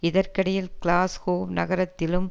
இதற்கிடையில் கிளாஸ்கோவ் நகரத்திலும்